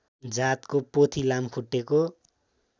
जातको पोथी लामखुट्टेको